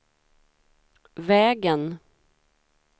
vägen